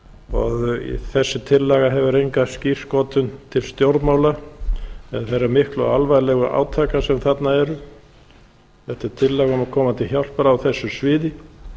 og þessi tillaga hefur enga skírskotun til stjórnmála eða þeirra miklu og alvarlegu átaka sem þarna eru þetta er tillaga um að koma til hjálpar á þessu sviði